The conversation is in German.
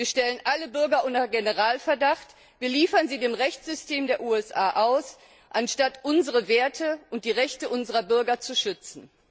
Wir stellen alle Bürger unter Generalverdacht, wir liefern sie dem Rechtssystem der USA aus, anstatt unsere Werte und die Rechte unserer Bürger zu schützen.